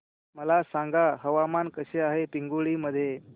मला सांगा हवामान कसे आहे पिंगुळी मध्ये